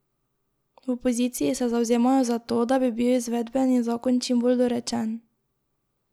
V opoziciji se zavzemajo za to, da bi bil izvedbeni zakon čim bolj dorečen.